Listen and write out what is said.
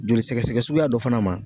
Joli sɛgɛsɛgɛ suguya dɔ fana ma